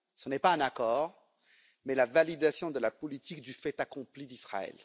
Ce n'est pas un accord, mais la validation de la politique du fait accompli d'Israël.